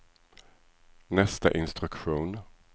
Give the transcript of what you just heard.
nästa instruktion